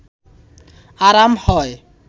আরাম হয়